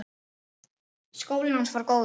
Skólinn hans var góður.